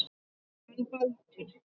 Hann Baldur.